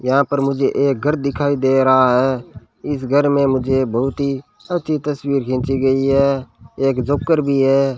यहां पर मुझे एक घर दिखाई दे रहा है इस घर में मुझे बहुत ही अच्छी तस्वीर खींची गई है एक जोकर भी है।